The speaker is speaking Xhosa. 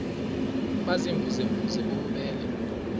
baziimvuze mvuze bububele